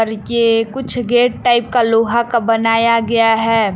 कुछ gate type का लोहा का बनाया गया है।